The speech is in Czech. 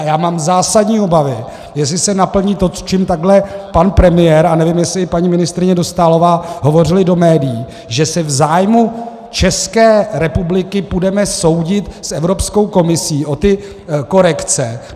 A já mám zásadní obavy, jestli se naplní to, čím takhle pan premiér, a nevím, jestli i paní ministryně Dostálová, hovořili do médií, že se v zájmu České republiky půjdeme soudit s Evropskou komisí o ty korekce.